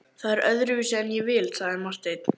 Það er öðruvísi en ég vil, sagði Marteinn.